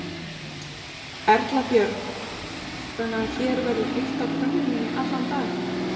Erla Björg: Þannig að hér verður heitt á könnunni í allan dag?